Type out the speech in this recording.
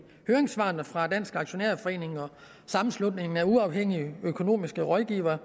høringssvarene fra dansk aktionærforening og sammenslutningen af uafhængige økonomiske rådgivere